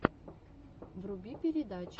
вруби передачи